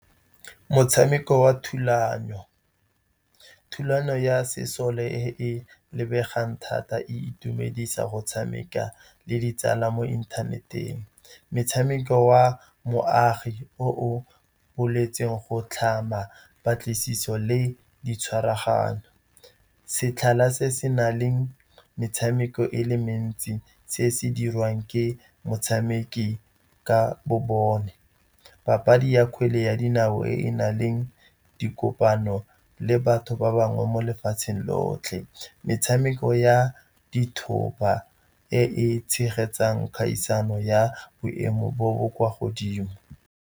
Motshameko wa thulano, thulano ya sesole e lebegang thata, e itumedisa go tshameka le ditsala mo inthaneteng. Motshameko wa moagi o boletsweng go tlhama patlisiso le ditshwaraganyo. Setlhala se se na le metshameko e le mentsi se se dirwang ke motshameki ka bo bone. Papadi ya kgwele ya dinao e na le dikopano le batho ba bangwe mo lefatseng lotlhe. Metshameko ya dithoba e e tshegetsang kgaisano ya boemo bo bo kwa godimo.